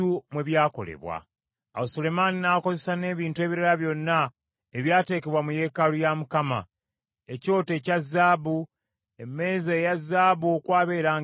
Awo Sulemaani n’akozesa n’ebintu ebirala byonna ebyateekebwa mu yeekaalu ya Mukama : ekyoto ekya zaabu; emmeeza eya zaabu okwaberanga emigaati egy’okulaga;